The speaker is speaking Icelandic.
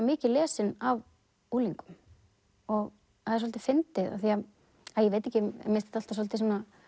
mikið lesin af unglingum það er svolítið fyndið ég veit ekki mér finnst þetta svolítið